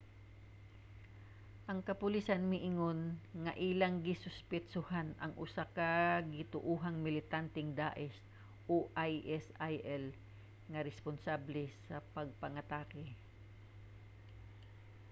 ang kapolisan miingon nga ilang gisuspetsohan ang usa ka gituohang militanteng daesh isil nga responsable sa pagpangatake